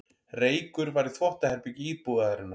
Reykur var í þvottaherbergi íbúðarinnar